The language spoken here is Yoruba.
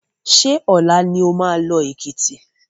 Ṣé ọ̀la ni oma lọ Èkìtì?